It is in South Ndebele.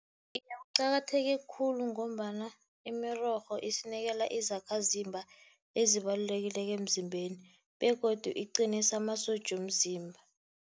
Iye, kuqakatheke khulu ngombana imirorho isinikela izakhazimba ezibalulekileko emzimbeni begodu iqinisa amasotja womzimba.